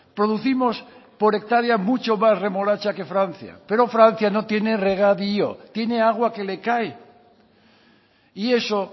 producimos por hectárea mucha más remolacha que francia pero francia no tiene regadío tiene agua que le cae y eso